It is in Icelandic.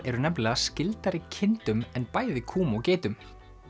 eru nefnilega skyldari kindum en bæði kúm og geitum